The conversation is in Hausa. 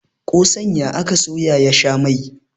kosan ya aka soya ya sha Mai